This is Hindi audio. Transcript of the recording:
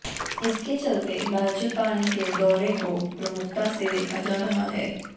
इसके चलते राज्यपाल के दौरे को प्रमुखता से देखा जा रहा है